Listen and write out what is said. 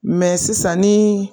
Mɛ sisan nin